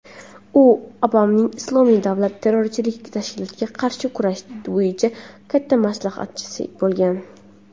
u Obamaning "Islomiy davlat" terrorchilik tashkilotiga qarshi kurash bo‘yicha katta maslahatchisi bo‘lgan.